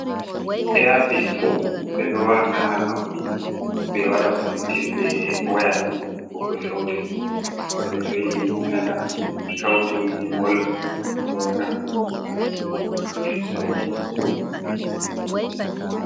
Apis ɓe ɗo wata ha nobbi, ɓe waɗa konnectin be waya ngam heɓugo sawtu. Goɗɗo to yiɗi nana sautu gimol ɗo naftira be majum ngam hokka ɗum sautu.